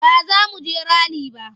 Ba za mu je rali ba.